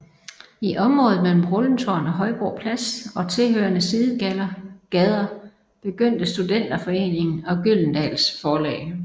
I området mellem Rundetårn og Højbro Plads og tilhørende sidegader begyndte Studenterforeningen og Gyldendals forlag